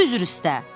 Üzr istə.